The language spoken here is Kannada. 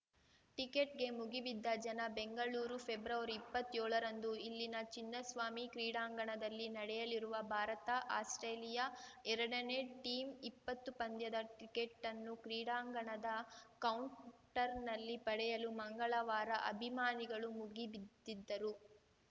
ಟಿಕೆಟ್‌ಗೆ ಮುಗಿಬಿದ್ದ ಜನ ಬೆಂಗಳೂರು ಫೆಬ್ರವರಿಇಪ್ಪತ್ಯೊಳ ರಂದು ಇಲ್ಲಿನ ಚಿನ್ನಸ್ವಾಮಿ ಕ್ರೀಡಾಂಗಣದಲ್ಲಿ ನಡೆಯಲಿರುವ ಭಾರತಆಸ್ಪ್ರೇಲಿಯಾ ಎರಡನೇ ಟಿಂ ಇಪ್ಪತ್ತು ಪಂದ್ಯದ ಟಿಕೆಟನ್ನು ಕ್ರೀಡಾಂಗಣದ ಕೌಂಟರ್‌ನಲ್ಲಿ ಪಡೆಯಲು ಮಂಗಳವಾರ ಅಭಿಮಾನಿಗಳು ಮುಗಿಬಿದ್ದಿದ್ದರು